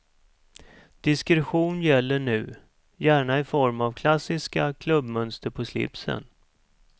Diskretion gäller nu, gärna i form av klassiska klubbmönster på slipsen.